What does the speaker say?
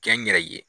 Kɛ n yɛrɛ ye